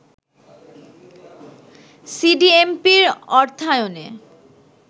সিডিএমপির অর্থায়নে